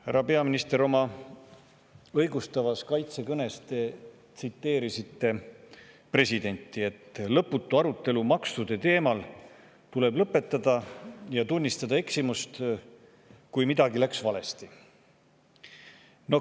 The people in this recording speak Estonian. Härra peaminister, oma õigustavas kaitsekõnes te tsiteerisite presidenti, et lõputu arutelu maksude teemal tuleb lõpetada ja tunnistada eksimust, kui midagi läks valesti.